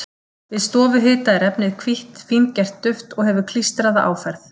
Við stofuhita er efnið hvítt, fíngert duft og hefur klístraða áferð.